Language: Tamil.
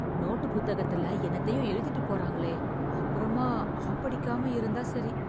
நோட்டுப் புத்தகத்துல என்னத்தையோ எழுதிட்டுப் போறாங்களே! அப்புறமா ஆப்படிக்காம இருந்தா சரி.